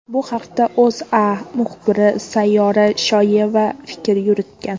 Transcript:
Bu haqda O‘zA muxbiri Sayyora Shoyeva fikr yuritgan .